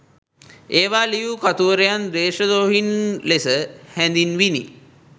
ඒවා ලියූ කතුවරුන් දේශදෝහීන් ලෙස හැඳින්විනි.